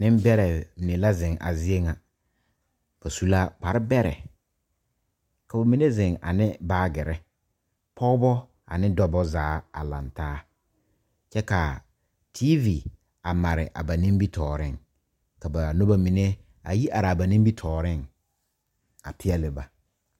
Nimbɛrrɛ mine la zeŋ a zie ŋa ba su la kpare bɛrɛ ka ba mine zeŋ a ne baagirre pɔɔbɔ ane dɔbɔ zaa a laŋtaa kyɛ kaa teevi a mare a ba nimitooreŋ kaa nobɔ mine a yi araa ba nimitooreŋ a peɛɛle ba.